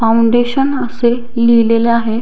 Foundation असे लिहिलेलं आहे.